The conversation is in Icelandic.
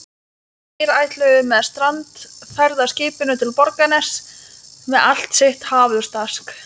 Þeir ætluðu með strandferðaskipinu til Borgarness með allt sitt hafurtask.